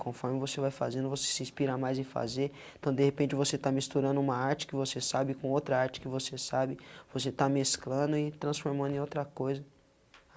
Conforme você vai fazendo, você se inspira mais em fazer, então de repente você está misturando uma arte que você sabe com outra arte que você sabe, você está mesclando e transformando em outra coisa.